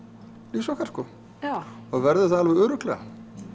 lífs okkar og verður það alveg örugglega